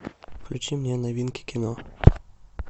включи мне новинки кино